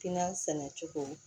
Kiina sɛnɛ cogo